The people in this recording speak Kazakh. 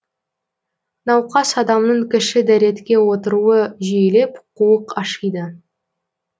науқас адамның кіші дәретке отыруы жиілеп қуық ашиды